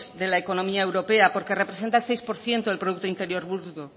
de la economía europea porque representa el seis por ciento del producto interior bruto